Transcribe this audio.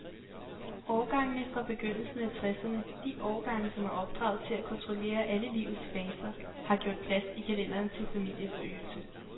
Årgangene fra begyndelsen af tresserne, de årgange, som er opdraget til at kontrollere alle livets faser, har gjort plads i kalenderen til familieforøgelse.